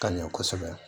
Ka ɲɛ kosɛbɛ